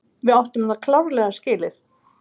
Við áttum þetta klárlega skilið.